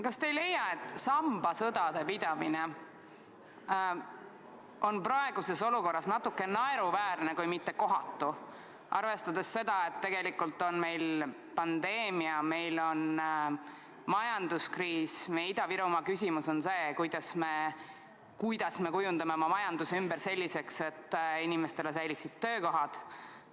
Kas te ei leia, et sambasõdade pidamine on praeguses olukorras natuke naeruväärne kui mitte kohatu, arvestades seda, et tegelikult on meil pandeemia, meil on majanduskriis, meie Ida-Virumaa küsimus on see, kuidas me kujundame oma majanduse ümber selliseks, et inimeste töökohad säiliksid?